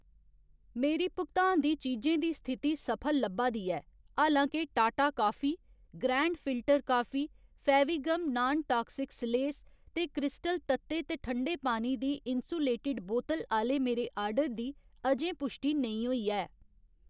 मेरी भुगतान दी चीजें दी स्थिति सफल लब्भा दी ऐ, हालां के Tata coffee, grand filter coffee, Fevigum non toxic सलेस ते क्रिस्टल तत्ते ते ठंडे पानी दी इन्सुलेटिड बोतल आह्‌ले मेरे आर्डर दी अजें पुश्टि नेईं होई ऐ।